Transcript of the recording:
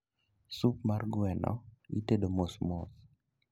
Sup mar gweno itedo mosmos